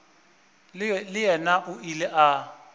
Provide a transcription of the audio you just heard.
le yena o ile a